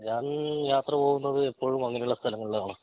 ഞാൻ യാത്ര പോകുന്നത് എപ്പോഴും അങ്ങിനെ ഉള്ള സ്ഥലങ്ങളിൽ ആണ്